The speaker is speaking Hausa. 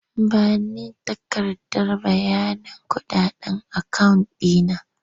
Ba ni takardar bayanin kuɗaɗen akawun ɗi na!